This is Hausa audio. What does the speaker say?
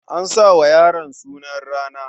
A sa wa yaron sunan rana.